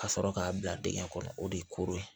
Ka sɔrɔ k'a bila dingɛ kɔnɔ o de ye koro ye